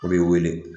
O b'i wele